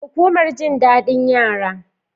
Hukumar jin dadin yara